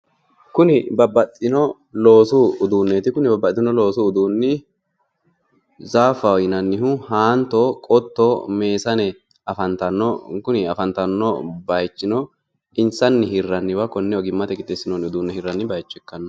Kuni babbaxxino loosu uduunneeti. Kuni babbaxxino loosu uduunni zaafaho yinannihu, haanto qotto, meesane afantanno. Kuni afantanno baayichino insanni hirranniwa konne ogimmate qixxeessinoonni uduunne hirranni baayicho ikkanno.